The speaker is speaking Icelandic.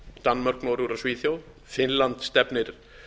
danmörk noregur og svíþjóð finnland stefnir